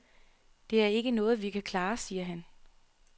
Det er ikke noget, vi kan klare, siger han.